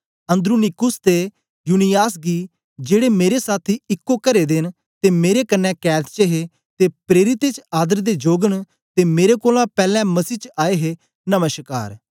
Andronicus ते Junias गी जेड़े मेरे साथी इको करे दे न ते मेरे कन्ने कैद च हे ते प्रेरितें च आदर दे जोग न ते मेरे कोलां पैलैं मसीही च आए हे नमश्कार